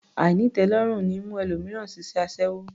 Àìnítẹ̀ẹ́lọ́rùn ní mú ẹlòmíràn ṣiṣẹ́ aṣẹ́wó